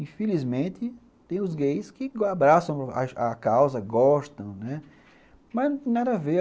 Infelizmente, tem os gays que abraçam a a causa, gostam, mas nada a ver.